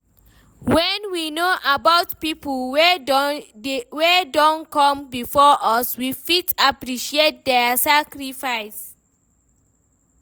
When we know about pipo wey don come before us, we fit appreciate their sacrifices